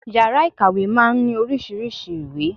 Yàrá ìkàwé máa ń ní oríṣiríṣei ìwé